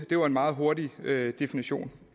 det var en meget hurtigt definition